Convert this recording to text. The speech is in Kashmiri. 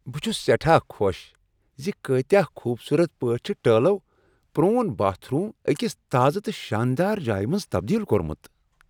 بہٕ چھس سیٹھاہ خوش ز کٲتِیاہ خوبصورت پٲٹھۍ چھ ٹٲلَو پروون باتھ روم ٲکس تازہ تہٕ شاندار جایہ منز تبدیل کوٚرمت۔